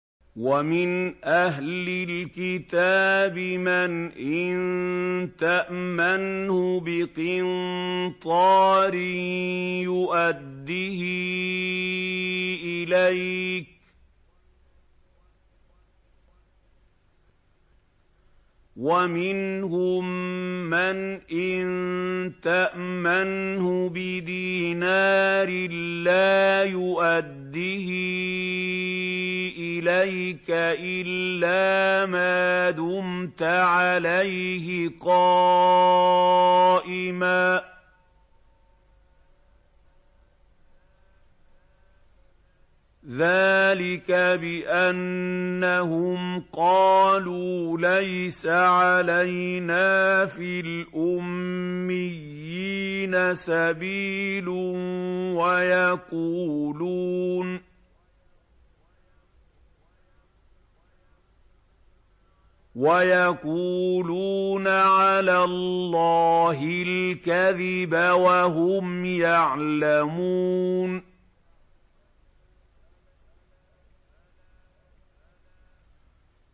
۞ وَمِنْ أَهْلِ الْكِتَابِ مَنْ إِن تَأْمَنْهُ بِقِنطَارٍ يُؤَدِّهِ إِلَيْكَ وَمِنْهُم مَّنْ إِن تَأْمَنْهُ بِدِينَارٍ لَّا يُؤَدِّهِ إِلَيْكَ إِلَّا مَا دُمْتَ عَلَيْهِ قَائِمًا ۗ ذَٰلِكَ بِأَنَّهُمْ قَالُوا لَيْسَ عَلَيْنَا فِي الْأُمِّيِّينَ سَبِيلٌ وَيَقُولُونَ عَلَى اللَّهِ الْكَذِبَ وَهُمْ يَعْلَمُونَ